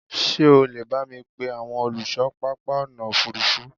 ṣé o lè bámi pe àwọn olùṣọ pápá ọ̀nà òfurufú?